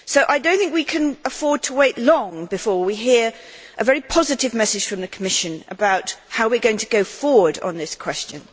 I do not think we can afford to wait long before we hear a very positive message from the Commission about how we are going to go forward on this question.